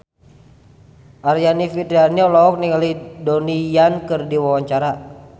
Aryani Fitriana olohok ningali Donnie Yan keur diwawancara